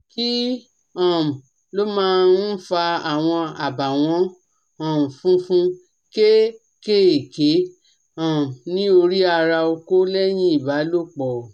Kí um ló máa ń fa àwọn abawon um funfun keekéeké um ní orí ara oko leyin ibalòpọ̀?